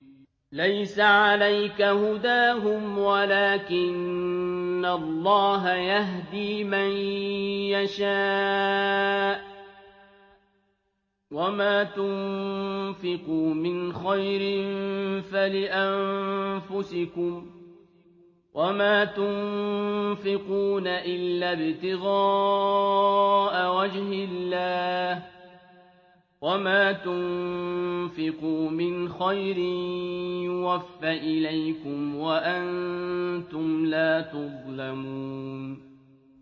۞ لَّيْسَ عَلَيْكَ هُدَاهُمْ وَلَٰكِنَّ اللَّهَ يَهْدِي مَن يَشَاءُ ۗ وَمَا تُنفِقُوا مِنْ خَيْرٍ فَلِأَنفُسِكُمْ ۚ وَمَا تُنفِقُونَ إِلَّا ابْتِغَاءَ وَجْهِ اللَّهِ ۚ وَمَا تُنفِقُوا مِنْ خَيْرٍ يُوَفَّ إِلَيْكُمْ وَأَنتُمْ لَا تُظْلَمُونَ